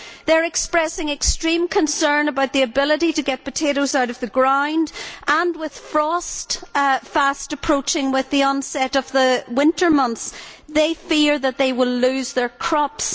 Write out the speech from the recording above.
They are expressing extreme concern about their ability to get potatoes out of the ground and, with frost fast approaching with the onset of the winter months, they fear that they will lose their crops.